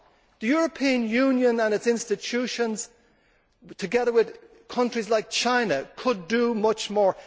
The European Union and its institutions, together with countries like China, could do much more.